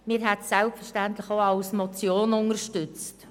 Wir hätten es selbstverständlich auch als Motion unterstützt.